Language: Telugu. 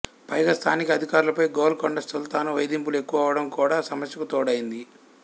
పైగా స్థానిక అధికారులపై గోల్కొండ సుల్తాను వేధింపులు ఎక్కువవడం కూడా సమస్యకు తోడైంది